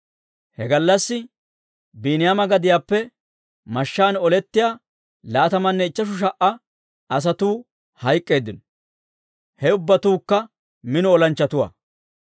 He gallassi Biiniyaama gadiyaappe mashshaan olettiyaa laatamanne ichcheshu sha"a asatuu hayk'k'eeddino; he ubbatuukka mino olanchchatuwaa.